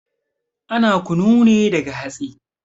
Ana kunu ne daga hatsi